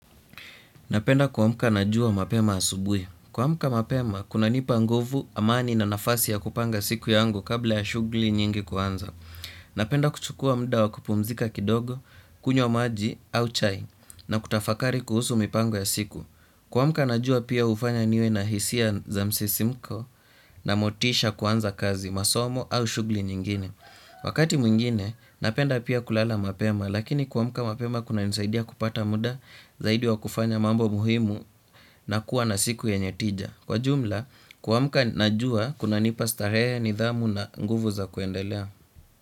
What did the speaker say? Napenda kuamka na jua mapema asubui. Kuamka mapema, kunanipa nguvu, amani na nafasi ya kupanga siku yangu kabla ya shughli nyingi kuanza. Napenda kuchukua mda wa kupumzika kidogo, kunywa maji au chai na kutafakari kuhusu mipango ya siku. Kuamka najua pia hufanya niwe na hisia za msisimko na motisha kuanza kazi, masomo au shughli nyingine. Wakati mwingine napenda pia kulala mapema lakini kuamka mapema kunanisaidia kupata muda zaidi wa kufanya mambo muhimu na kuwa na siku yenye tija. Kwa jumla kuamka najua kunanipa starehe nidhamu na nguvu za kuendelea.